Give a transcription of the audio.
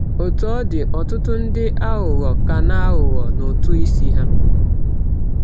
Otú ọ dị, ọtụtụ ndị aghụghọ ka na-aghụghọ n’ụtụ isi ha.